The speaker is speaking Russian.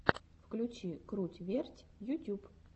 включи круть верть ютюб